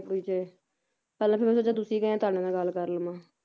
ਕੱਲ ਫੇਰ ਮੈਂ ਸੋਚਿਆ ਤੁਸੀ ਗਏ ਤੁਹਾਡੇ ਨਾਲ ਗੱਲ ਕਰ ਲਵਾਂ,